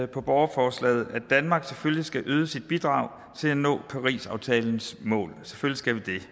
på borgerforslaget at danmark selvfølgelig skal yde sit bidrag til at nå parisaftalens mål selvfølgelig